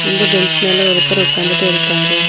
இந்த பெஞ்ச் மேல ஒருத்தர் உக்காந்துட்டு இருக்காரு.